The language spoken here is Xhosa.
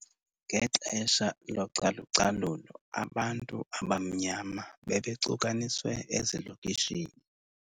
Ngexesha localucalulo abantu abamnyama bebecukaniswe ezilokishini.